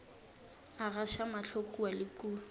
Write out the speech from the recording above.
a gaša mahlo kua le